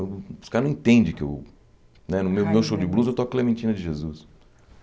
Os caras não entendem que eu... Né no meu no meu show de blues, eu toco Clementina de Jesus.